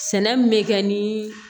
Sɛnɛ min bɛ kɛ ni